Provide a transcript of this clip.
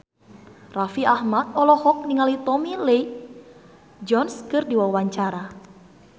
Raffi Ahmad olohok ningali Tommy Lee Jones keur diwawancara